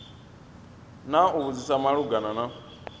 na u vhudzisa malugana na